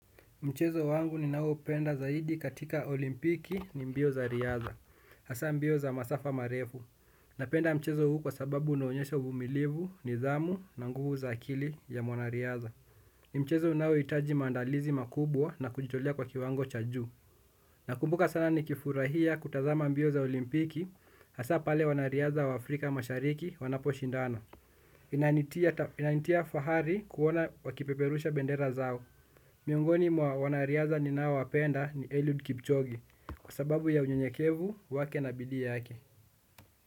Mchezo wangu ninaoupenda zaidi katika olimpiki, ni mbio za riadha, hasa mbio za masafa marefu. Napenda mchezo huu kwa sababu unaonyesha uvumilivu, nidhamu, na nguvu za akili ya mwanariadha. Ni mchezo unaohitaji maandalizi makubwa na kujitolea kwa kiwango cha juu. Nakumbuka sana nikifurahia kutazama mbio za olimpiki, hasa pale wanariadha wa Afrika mashariki wanaposhindana. Inanitia fahari kuona wakipeperusha bendera zao. Miongoni mwa wanariadha ninaowapenda, ni Eliud Kipchoge, kwa sababu ya unyenyekevu wake na bidii yake.